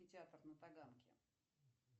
театр на таганке